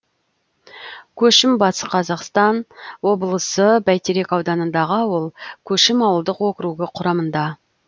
көшім батыс қазақстан облысы бәйтерек ауданындағы ауыл көшім ауылдық округі құрамында